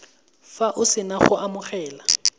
fa o sena go amogela